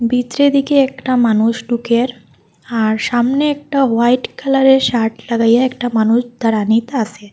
ভিত্রে দিকে একটা মানুষ ডুকের আর সামনে একটা হোয়াইট কালারের শার্ট লাগাইয়া একটা মানুষ দাঁড়ানিতা আসে ।